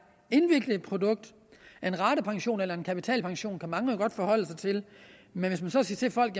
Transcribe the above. indviklet produkt en ratepension eller en kapitalpension kan mange jo godt forholde sig til men hvis man så siger til folk